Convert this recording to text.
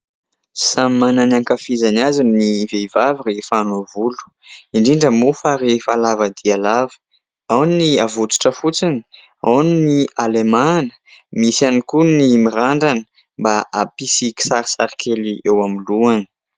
Samy manana ny hankafizany azy ny vehivavy rehefa hanao volo, indrindra moa fa rehefa lava dia lava. Ao ny avotsitra fotsiny, ao ny halemahana. Misy ihany koa ny mirandrana mba hampisy kisarisarikely eo amin'ny lohany.